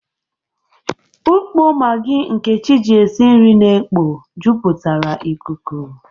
Ukpo Magi Nkechi ji esi nri na-ekpo jupụtara ikuku.